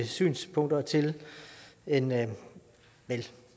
synspunkter til en vel